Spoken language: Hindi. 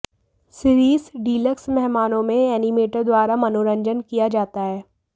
सिरीस डीलक्स मेहमानों में एनिमेटर द्वारा मनोरंजन किया जाता है